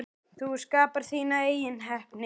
Þú skapar þína eigin heppni.